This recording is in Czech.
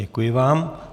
Děkuji vám.